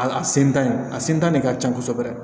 A sentan a sentan de ka ca kosɛbɛ